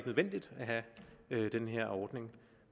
nødvendigt at have den her ordning